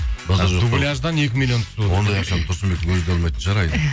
дубляждан екі миллион түсіп отыр ондай ақшаны тұрсынбектің өзі де алмайтын шығар